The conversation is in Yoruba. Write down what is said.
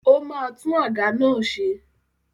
Ó máa tún àga náà ṣe.